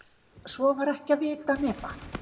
Svo var ekki að vita nema